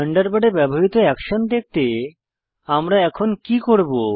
থান্ডারবার্ডে ব্যবহৃত অ্যাকশন দেখতে আমরা এখন কি করব